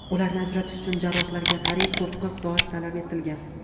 Ularni ajratish uchun jarrohlarga qariyb to‘qqiz soat talab etilgan.